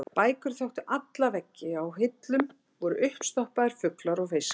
Bækur þöktu alla veggi og á hillum voru uppstoppaðir fuglar og fiskar.